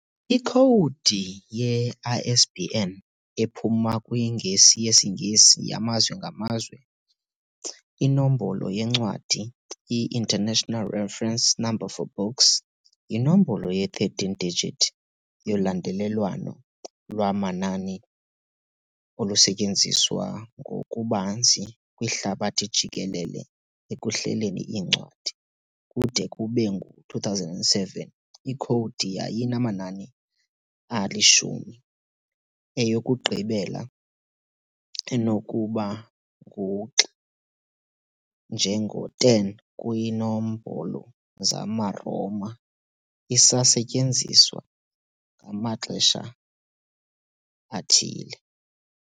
Ikhowudi ye-ISBN, ephuma kwiNgesi yesiNgesi yaMazwe ngaMazwe Inombolo yeNcwadi, "i-International Reference Number for Books", yinombolo ye-13-digit yolandelelwano lwamanani olusetyenziswa ngokubanzi kwihlabathi jikelele ekuhleleni iincwadi, kude kube ngu-2007 ikhowudi yayinamanani ali-10, eyokugqibela enokuba ngu-X njengo-10 kwiinombolo zamaRoma , isasetyenziswa ngamaxesha athile.